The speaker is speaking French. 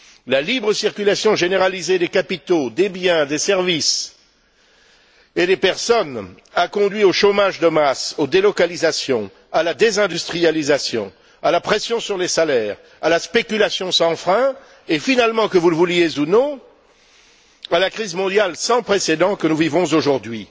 La libre circulation généralisée des capitaux, des biens, des services et des personnes a conduit au chômage de masse, aux délocalisations, à la désindustrialisation, à la pression sur les salaires, à la spéculation sans frein et, finalement, que vous le vouliez ou non, à la crise mondiale sans précédent que nous vivons aujourd'hui.